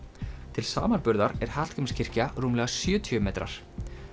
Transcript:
til samanburðar er Hallgrímskirkja rúmlega sjötíu metrar